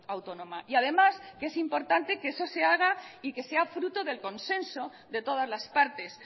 autónoma y además es importante que eso se haga y que sea fruto del consenso de todas las partes